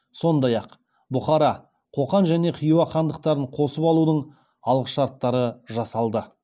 сондай ақ бұхара қоқан және хиуа хандықтарын қосып алудың алғышарттары жасалды